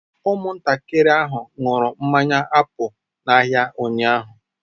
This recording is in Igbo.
Ụmụntakịrị ahụ ṅụrụ mmanya apụl n'ahịa ụnyahụ.